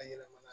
A yɛlɛmana